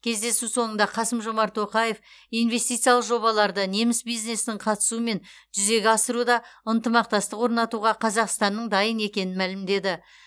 кездесу соңында қасым жомарт тоқаев инвестициялық жобаларды неміс бизнесінің қатысуымен жүзеге асыруда ынтымақтастық орнатуға қазақстанның дайын екенін мәлімдеді